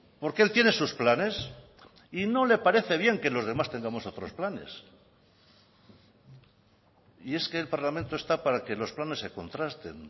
porque él tiene sus planes y no le parece bien que los demás tengamos otros planes y es que el parlamento está para que los planes se contrasten